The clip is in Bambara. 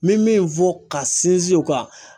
N bɛ min fɔ ka sinsin o kan.